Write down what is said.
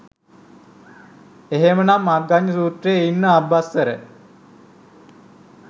එහෙම නම් අග්ගඤ්ඤ සූත්‍රෙ ඉන්න ආභස්සර